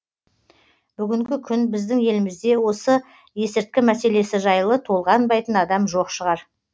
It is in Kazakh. бүгінгі күні біздің елімізде осы есірткі мәселесі жайлы толғанбайтын адам жоқ шығар